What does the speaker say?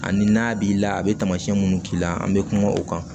Ani n'a b'i la a be tamasiɲɛ munnu k'i la an be kuma o kan